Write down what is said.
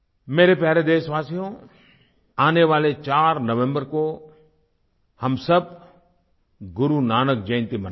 मेरे प्यारे देशवासियो आने वाले 4 नवम्बर को हम सब गुरु नानक जयंती मनाएंगे